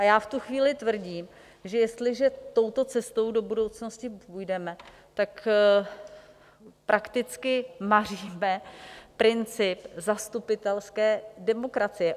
A já v tu chvíli tvrdím, že jestliže touto cestou do budoucnosti půjdeme, tak prakticky maříme principy zastupitelské demokracie.